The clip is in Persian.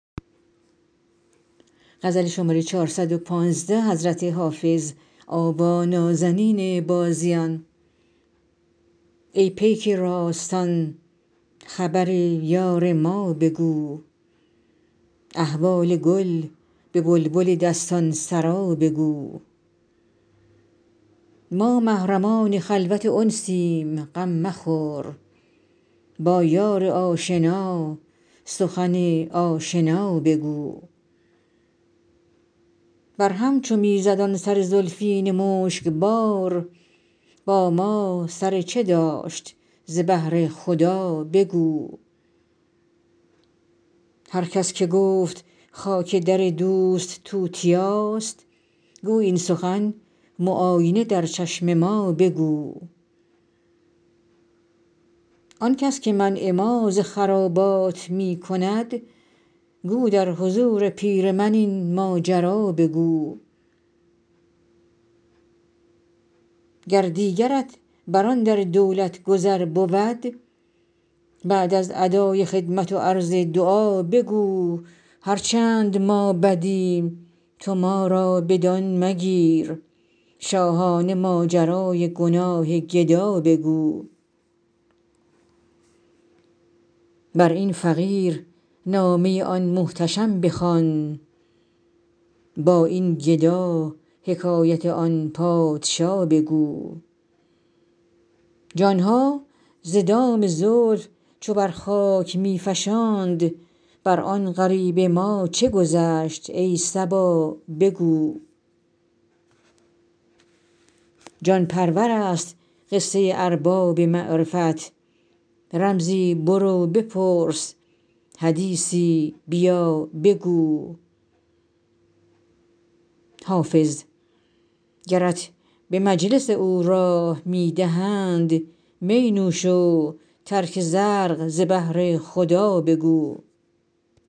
ای پیک راستان خبر یار ما بگو احوال گل به بلبل دستان سرا بگو ما محرمان خلوت انسیم غم مخور با یار آشنا سخن آشنا بگو بر هم چو می زد آن سر زلفین مشک بار با ما سر چه داشت ز بهر خدا بگو هر کس که گفت خاک در دوست توتیاست گو این سخن معاینه در چشم ما بگو آن کس که منع ما ز خرابات می کند گو در حضور پیر من این ماجرا بگو گر دیگرت بر آن در دولت گذر بود بعد از ادای خدمت و عرض دعا بگو هر چند ما بدیم تو ما را بدان مگیر شاهانه ماجرای گناه گدا بگو بر این فقیر نامه آن محتشم بخوان با این گدا حکایت آن پادشا بگو جان ها ز دام زلف چو بر خاک می فشاند بر آن غریب ما چه گذشت ای صبا بگو جان پرور است قصه ارباب معرفت رمزی برو بپرس حدیثی بیا بگو حافظ گرت به مجلس او راه می دهند می نوش و ترک زرق ز بهر خدا بگو